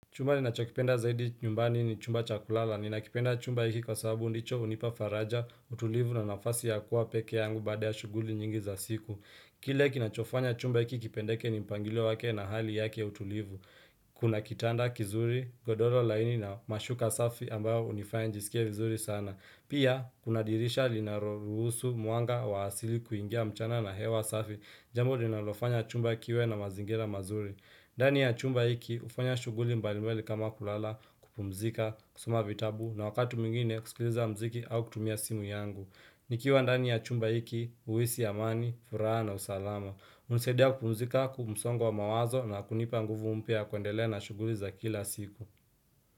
Chumba ninachokipenda zaidi nyumbani ni chumba cha kulala. Ninakipenda chumba hiki kwa sababu ndicho hunipafaraja, utulivu na nafasi ya kuwa peke yangu bada ya shughuli nyingi za siku. Kile kinachofanya chumba hiki kipendeke ni mpangilo wake na hali yake utulivu. Kuna kitanda kizuri, godoro laini na mashuka safi ambayo hunifanya nijisikie vizuri sana. Pia, kuna dirisha linaro ruhusu muanga wa asili kuingia mchana na hewa safi. Jambo linalofanya chumba kiwe na mazingira mazuri. Ndani ya chumba hiki hufanya shughuli mbali mbali kama kulala kupumzika, kusoma vitabu na wakati mwingine kusikiliza mziki au kutumia simu yangu. Nikiwa ndani ya chumba hiki huhisi amani, furaha na usalama. Hunisaidia kupumzika, msongo wa mawazo na kunipa nguvu mpya ya kuendelea na shughuli za kila siku.